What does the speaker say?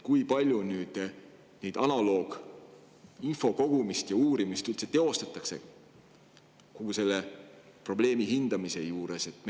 Kui palju nüüd analoogide kohta infot kogutakse ja neid uuritakse üldse kogu selle probleemi hindamise juures?